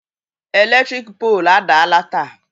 Eletrik poolu adaala taa